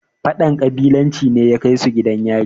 fadan ƙabilanci ne ya Kai su gidan yaro